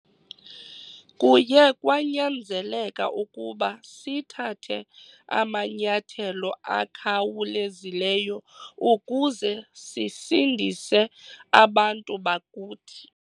Kuye kwanyanzeleka ukuba sithathe amanyathelo akhawulezileyo ukuze sisindise abantu bakuthi.